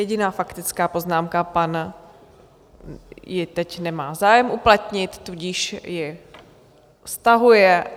Jediná faktická poznámka - pan... ji teď nemá zájem uplatnit, tudíž ji stahuje.